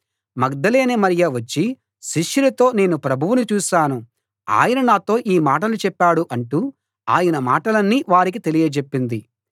మగ్దలేనే మరియ వచ్చి శిష్యులతో నేను ప్రభువును చూశాను ఆయన నాతో ఈ మాటలు చెప్పాడు అంటూ ఆయన మాటలన్నీ వారికి తెలియజెప్పింది